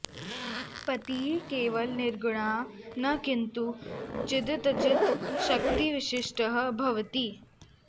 पतिः केवल निर्गुणः न किन्तु चिदचित् शक्तिविशिष्टः भवति